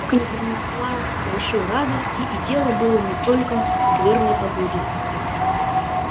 не принесла большой радости и дело было не только в скверной погоде